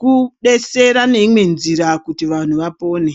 kubetsera ngeimwe nzira kuti vanhu vapone.